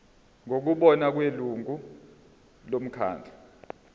ngokubona kwelungu lomkhandlu